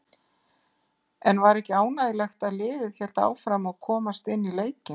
En var ekki ánægjulegt að liðið hélt áfram og komst inn í leikinn?